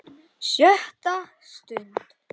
SJÖTTA STUND